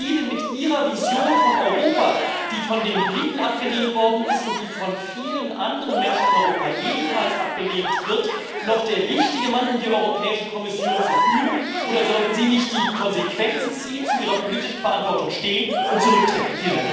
Sind Sie denn mit Ihrer Vision von Europa, die von den Briten abgelehnt worden ist und die von vielen anderen Menschen in Europa ebenfalls abgelehnt wird, noch der richtige Mann, um die Europäische Kommission zu führen? Oder sollten Sie nicht die Konsequenzen ziehen, zu Ihrer politischen Verantwortung stehen und zurücktreten?